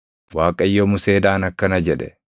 Waaqayyo Museedhaan akkana jedhe;